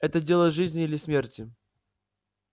это дело жизни или смерти